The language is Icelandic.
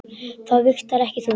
Það vigtar ekki þungt.